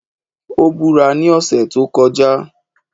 Ó búra ní ọ̀sẹ̀ tí ó kọjá